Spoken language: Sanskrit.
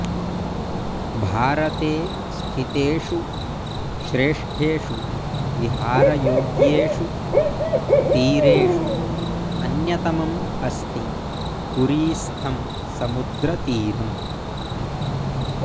भारते स्थितेषु श्रेष्ठेषु विहारयोग्येषु तीरेषु अन्यतमम् अस्ति पुरीस्थं समुद्रतीरम्